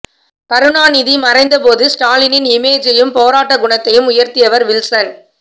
கருணாநிதி மறைந்த போது ஸ்டாலினின் இமேஜையும் போராட்ட குணத்தையும் உயர்த்தியவர் வில்சன்